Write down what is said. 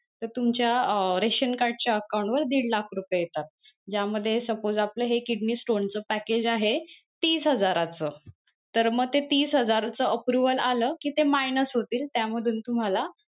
तर तुमच्या अं रेशन card च्या account वर दीड लाख रुपये येतात त्यामध्ये suppose आपलं हे kidney stone च package आहे तीस हजाराच तर मग ते तीस हजाराच approval आलं कि ते minus होतील त्यामधून तुम्हाला,